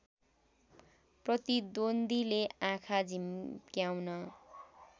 प्रतिद्वन्द्वीले आँखा झिम्क्याउन